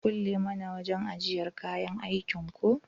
Ka kulle mana wajan ajjiyar kayan aikin ko?